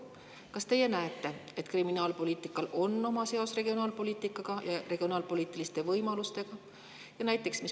Kas teie näete, et kriminaalpoliitikal on seos regionaalpoliitikaga ja regionaalpoliitiliste võimalustega?